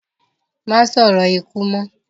Má sòrò ikú mọ́